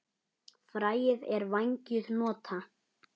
Fræið er vængjuð hnota.